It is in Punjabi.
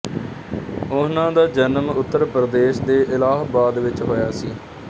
ਉਹਨਾਂ ਦਾ ਜਨਮ ਉੱਤਰ ਪ੍ਰਦੇਸ਼ ਦੇ ਇਲਾਹਾਬਾਦ ਵਿੱਚ ਹੋਇਆ ਸੀ